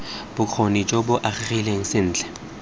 bokgoni jo bo agegileng sentle